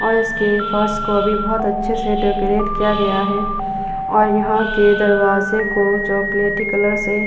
और इसके फर्श को अभी बहोत अच्छे से डेकोरेट किया गया है और यहाँ के दरवाजे को चॉकलेटी कलर से --